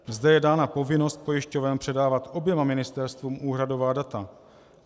Zde je dána povinnost pojišťoven předávat oběma ministerstvům úhradová data.